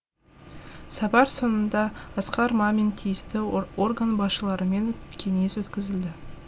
сапар соңында асқар мамин тиісті орган басшыларымен кеңес өткізілді